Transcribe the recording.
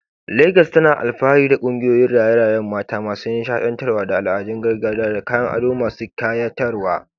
Legas tana alfahari da kungiyoyin raye-rayen mata masu nishaɗantarwa da al'adun gargajiya da kayan ado masu kayatarwa.